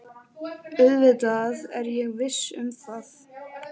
Auðvitað er ég viss um það.